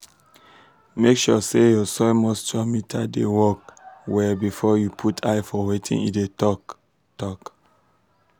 make sure say your soil moisture meter dey work well before you put eye for wetin e dey talk. talk.